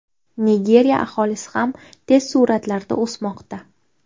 Nigeriya aholisi ham tez sur’atlarda o‘smoqda.